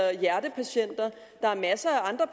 hjertepatienter der er masser af andre